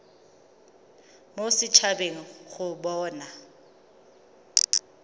mo set habeng go bona